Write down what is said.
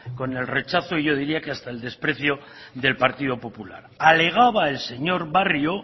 con el rechazo y yo diría que hasta el desprecio del partido popular alegaba el señor barrio